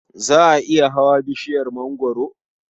Za ka iya hawa bishiyar mangwaro?